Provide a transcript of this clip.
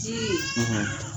ji